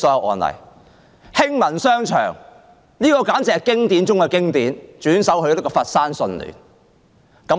還有興民商場，簡直是經典中的經典，被轉售予佛山順聯集團。